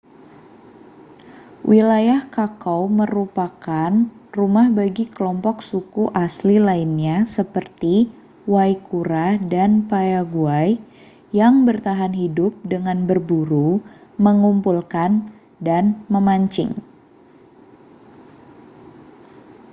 wilayah chaco merupakan rumah bagi kelompok suku asli lainnya seperti guaycurãº dan payaguã¡ yang bertahan hidup dengan berburu mengumpulkan dan memancing